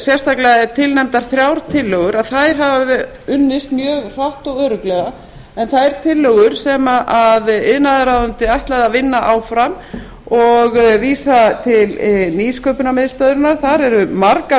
sérstaklega eru tilnefndar þrjár tillögur að þær hafa unnist mjög hratt og örugglega en þær tillögur sem iðnaðarráðuneytið ætlaði að vinna áfram og vísa til nýsköpunarmiðstöðvarinnar þar eru margar